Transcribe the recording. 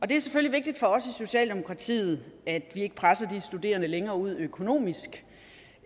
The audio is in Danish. det er selvfølgelig vigtigt for socialdemokratiet at vi ikke presser de studerende længere ud økonomisk